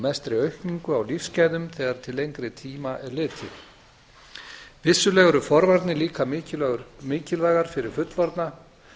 mestri aukningu á lífsgæðum þegar til lengri tíma er litið vissulega eru forvarnir líka mikilvægar fyrir fullorðna